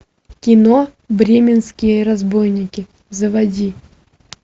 кино бременские разбойники заводи